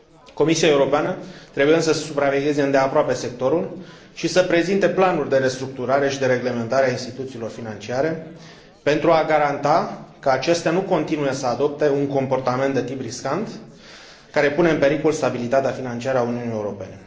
Comisia Europeană trebuie, însă, să supravegheze îndeaproape sectorul și să prezinte planuri de restructurare și de reglementare a instituțiilor financiare, pentru a garanta că acestea nu continuă să adopte un comportament de tip riscant, care pune în pericol stabilitatea financiară a Uniunii Europene.